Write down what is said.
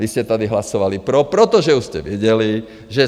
Vy jste tady hlasovali pro, protože už jste věděli, že